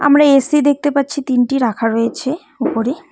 আমরা এ_সি দেখতে পাচ্ছি তিনটি রাখা রয়েছে ওপরে।